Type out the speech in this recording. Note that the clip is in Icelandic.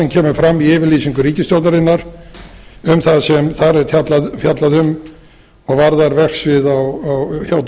kemur fram í yfirlýsingu ríkisstjórnarinnar um það sem þar er fjallað um og varðar verksvið hjá dóms og